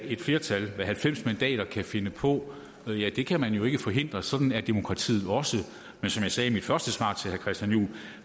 et flertal med halvfems mandater kan finde på det kan man jo ikke forhindre sådan er demokratiet også men som jeg sagde i mit første svar til herre christian juhl